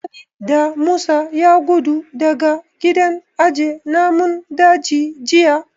Wani Damisa ya gudu daga gidan aje namun daji jiya